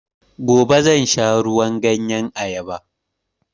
Gobe zan sha ruwan ganyen ayaba